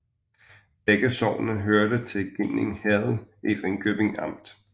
Begge sogne hørte til Ginding Herred i Ringkøbing Amt